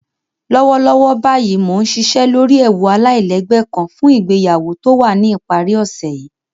Lọ́wọ́lọ́wọ́ báyìí mó nsìṣẹ́ lọ́rí èwú aláìlẹ́gbẹ̀ kán fún ìgbèyàwó tó wà ní ipàrí òṣè yìí